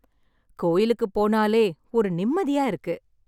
கோயிலுக்கு போனாலே ஒரு நிம்மதியா இருக்கு